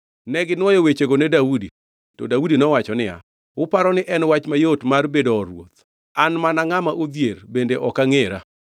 Neginwoyo wechego ne Daudi. To Daudi nowacho niya, “Uparo ni en wach mayot mar bedo or ruoth? An mana ngʼama odhier bende ok angʼera.”